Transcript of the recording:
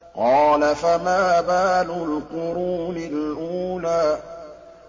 قَالَ فَمَا بَالُ الْقُرُونِ الْأُولَىٰ